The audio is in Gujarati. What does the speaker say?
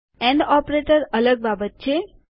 એન્ડ ઓપરેટર અલગ બાબત છે